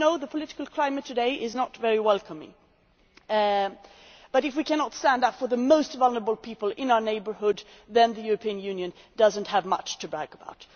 The political climate today is not very welcoming, but if we cannot stand up for the most vulnerable people in our neighbourhood, then the European Union does not have much to brag about.